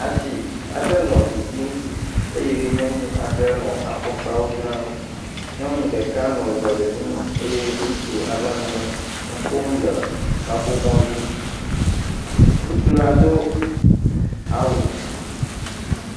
asi aɖe nɔ ɖiɖim eye nyɔnu aɖe nɔ afɔkpawo dzram nyɔnu ɖeka nɔ azɔlinu eye ŋutsu ɖeka nɔ nuƒom le kaƒomɔ dzi ŋutsu la do awu